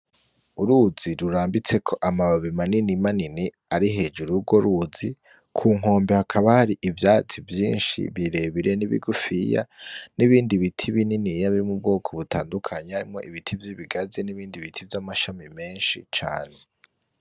Uruzi rurambitseko amababi manini manini ari hejuru yurwo ruzi, kunkombe hakaba hari ivyatsi vyinshi birebire n’ibigufiya ni bindi biti bininiya biri mubwoko butandukanye harimwo ibiti vyibigazi n’ibindi biti vyamashami menshi cane .